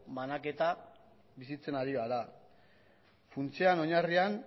banaketa bizitzen ari gara funtsean oinarrian